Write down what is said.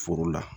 Foro la